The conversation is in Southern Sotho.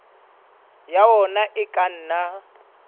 ya ona e ka nna